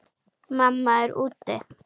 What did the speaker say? Mamma er úti.